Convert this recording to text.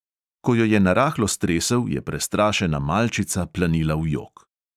Ko jo je narahlo stresel, je prestrašena malčica planila v jok.